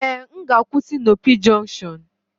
Ee, m ga-akwụsị na Opi junction